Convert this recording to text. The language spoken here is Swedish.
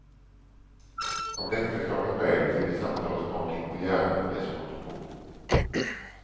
Av lättförklarliga skäl glider samtalet snart in på hjärnan och dess konstruktion.